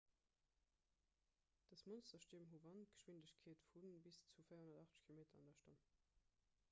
dës monsterstierm hu wandgeschwindegkeete vu bis zu 480 km/h 133 m/s; 300 mph